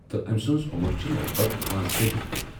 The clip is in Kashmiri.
تہٕ أمۍ سنٛز عُمر چھِ لگ بگ پانٛژتٲجی ؤری۔